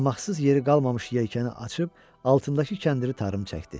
Yamaqsız yeri qalmamış yelkəni açıb altındakı kəndiri tarım çəkdi.